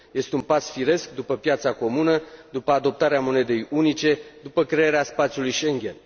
Este un pas firesc după piața comună, după adoptarea monedei unice, după crearea spațiului Schengen.